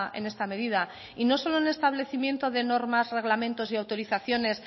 en esta medida y no solo en establecimiento de normas reglamentos y autorizaciones